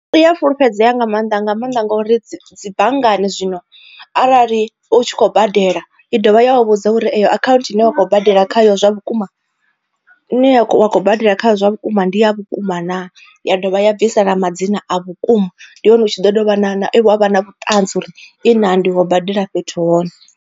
I ya fulufhedzea nga maanḓa nga maanḓa ngori dzibanngani zwino arali u tshi khou badela i dovha ya vha vhudza uri eyo account i ne wa khou badela khayo zwa vhukuma iṋe ya wa khou badela kha zwa vhukuma ndi ya vhukuma naa, ya dovha ya bvisela madzina a vhukuma ndi hone u tshi ḓo dovha na na wavha na vhuṱanzi uri i na ndi kho badela fhethu hone.